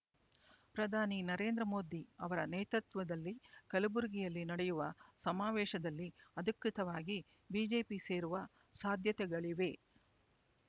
ಪ್ರಧಾನಿ ನರೇಂದ್ರ ಮೋದಿ ಅವರ ನೇತೃತ್ವದಲ್ಲಿ ಕಲಬುರಗಿಯಲ್ಲಿ ನಡೆಯುವ ಸಮಾವೇಶದಲ್ಲಿ ಅಧಿಕೃತವಾಗಿ ಬಿಜೆಪಿ ಸೇರುವ ಸಾಧ್ಯತೆಗಳಿವೆ